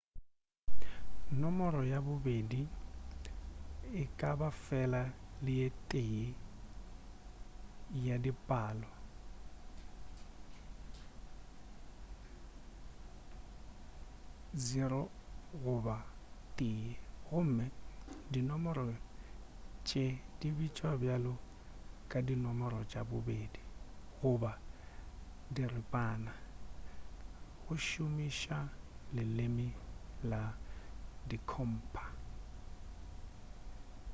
nomoro ya bobedi e ka ba fela le ye tee ya di palo mhl 0 goba 1 gomme dinomoro tše di bitšwa bjalo ka di nomoro tša bobedi goba diripana go šomiša leleme la dikhompha